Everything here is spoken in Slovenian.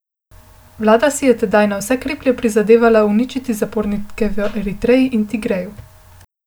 Vlada si je tedaj na vse kriplje prizadevala uničiti upornike v Eritreji in Tigreju.